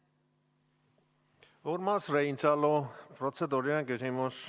Urmas Reinsalu, protseduuriline küsimus.